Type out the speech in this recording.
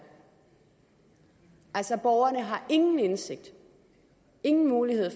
altså borgerne har ingen indsigt og ingen mulighed